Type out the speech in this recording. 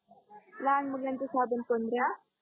लहान मुलांची साबण पंधरा